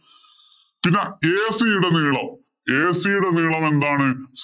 പിന്നെ AC യുടെ നീളം AC യുടെ നീളം എന്താണ്?